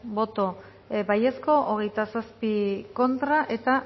boto aldekoa hogeita zazpi contra uno